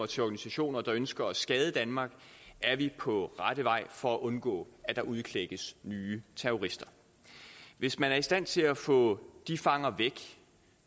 til organisationer der ønsker at skade danmark er vi på rette vej for at undgå at der udklækkes nye terrorister hvis man er i stand til at få de fanger væk